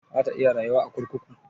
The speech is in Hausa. Za ta iya rayuwa a kurkuku?